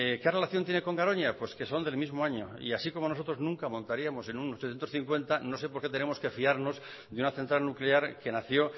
qué relación tiene con garoña pues que son del mismo año y así como nosotros no montaríamos en un ochocientos cincuenta no sé por qué tenemos que fiarnos de una central nuclear que nació